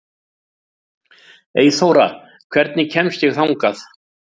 Eyþóra, hvernig kemst ég þangað?